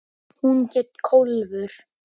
Hún hét Kólfur.